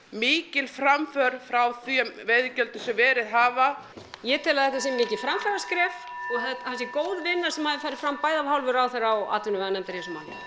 mikil framför frá þeim veiðigjöldum sem verið hafa ég tel að þetta sé mikið framfaraskref og held að það sé góð vinna sem hafi farið fram bæði af hálfu ráðherra og atvinnuveganefndar í þessu máli